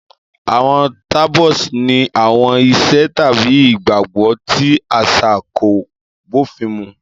Àwọn taboos ní àwọn ìṣe tàbí ìgbàgbọ́ tí àṣà kò bófin mu.